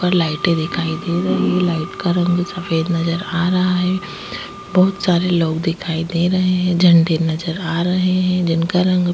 और लाइटे दिखाई दे रही है लाइट का रंग सफेद नज़र आ रहा है बहुत सारे लोग दिखाई दे रहे है झंडे नज़र आ रहे है जिनका रंग--